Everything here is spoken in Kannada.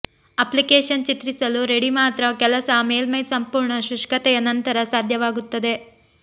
ಅಪ್ಲಿಕೇಶನ್ ಚಿತ್ರಿಸಲು ರೆಡಿ ಮಾತ್ರ ಕೆಲಸ ಮೇಲ್ಮೈ ಸಂಪೂರ್ಣ ಶುಷ್ಕತೆಯ ನಂತರ ಸಾಧ್ಯವಾಗುತ್ತದೆ